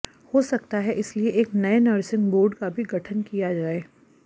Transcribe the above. हो सकता है इसलिए एक नये नर्सिंग बोर्ड का भी गठन किया जाए